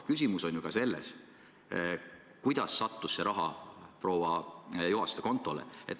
Küsimus on ju ka selles, kuidas see raha sattus proua Juhaste kontole.